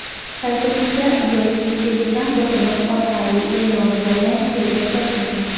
Saytimizda yoki Telegram botimiz orqali eʼlon joylang tezda soting.